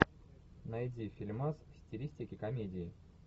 найди фильмас в стилистике комедии